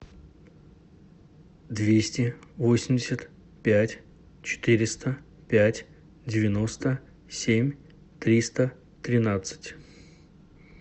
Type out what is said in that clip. двести восемьдесят пять четыреста пять девяносто семь триста тринадцать